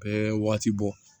Bɛɛ waati bɔ